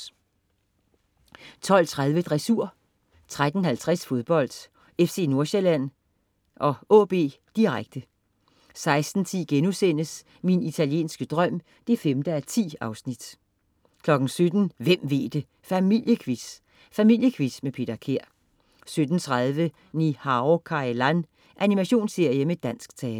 12.30 Dressur 13.50 Fodbold: FC Nordsjælland-AaB, direkte 16.00 Min italienske drøm 5:10* 17.00 Hvem ved det!. Familiequiz!. Familiequiz med Peter Kær 17.30 Ni-Hao Kai Lan. Animationsserie med dansk tale